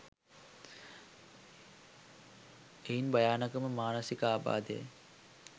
එයින් භයානකම මානසික ආබාධය